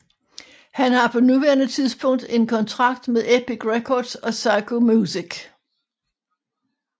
Han har på nuværende tidspunkt en kontrakt med Epic Records og Syco Music